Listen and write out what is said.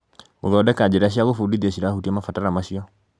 gũthondeka njĩra cia gũbundithia cirahutia mabataro macio.